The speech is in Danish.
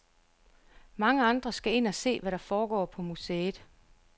Mange andre skal ind og se, hvad der foregår på museet.